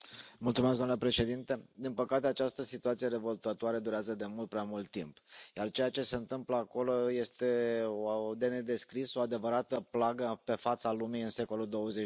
Domnule Președinte, din păcate această situație revoltătoare durează de mult prea mult timp, iar ceea ce se întâmplă acolo este de nedescris, o adevărată plagă pe fața lumii în secolul XXI.